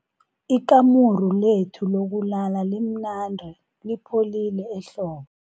Ikamuru lethu lokulala limnandi lipholile ehlobo.